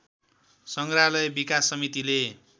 संग्रहालय विकास समितिले